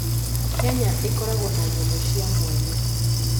Kenya ĩkoragwo na nyamũ cia mwanya.